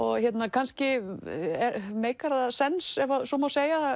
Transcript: kannski meikar það sens ef svo má segja